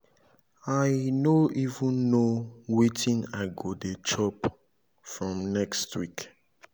i no even know wetin i go dey chop from next week